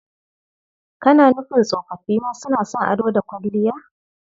Kana nufin tsofoffi ma suna son ado da kwalliya?